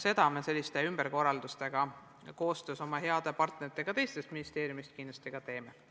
Seda me nende ümberkorraldustega koostöös oma heade partneritega teistest ministeeriumidest kindlasti teemegi.